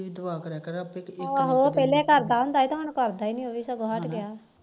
ਦੁਆ ਕਰਿਆ ਕਰ ਹਮ ਉਹ ਪਹਿਲੇ ਕਰਦਾ ਹੁੰਦਾ ਹੁਣ ਕਰਦਾ ਨੀ